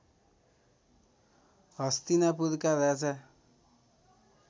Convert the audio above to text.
हस्तिनापुरका राजा